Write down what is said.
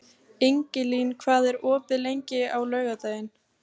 Ingilín, hvað er opið lengi á laugardaginn?